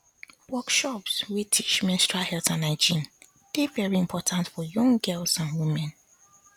workshops wey teach menstrual health and hygiene dey very important for young girls and women